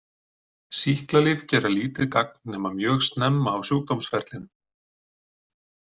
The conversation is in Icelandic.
Sýklalyf gera lítið gagn, nema mjög snemma á sjúkdómsferlinum.